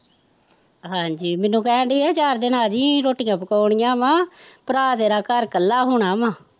ਹਾਂਜੀ ਮੈਂਨੂੰ ਕਹਿਣ ਡਈ ਸੀ ਕਿ ਚਾਰ ਦਿਨ ਆਜੀ ਰੋਟਿਆ ਪਕੌਣੀਆ ਵਾ ਭਰਾ ਤੇਰਾ ਘਰ ਕੱਲਾ ਹੁਣਾ ਵਾਂ